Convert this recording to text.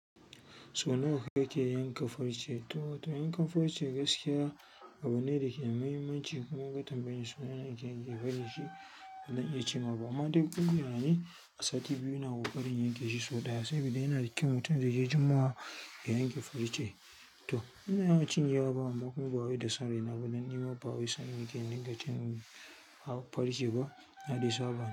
So nawa kake yanka farce? To, to yankan farce gaskiya abu ne da ke da muhimmanci, kuma ka tambayi suna yadda yake yanke farce, dan iya cewa ba. Amma duk inda na yi, a sati biyu ina buƙatar in yanke shi sau ɗaya saboda yana da kyau mutum da yake juma'a yanke farce. To, ina yawa ba cinye wa, amma kuma ba wai da sanin abu, dan nima ba wai sanin yake in ga cin farce ba, na yi sabo.